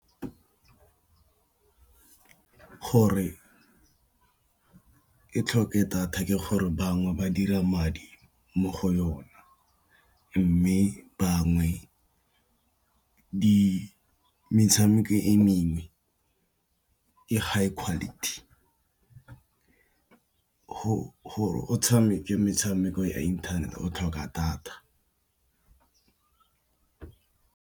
Gore ke tlhoke data ke gore bangwe ba dira madi mo go yona, mme bangwe metshameko e mengwe e high quality, gore o tshameke metshameko ya internet-e o tlhoka data.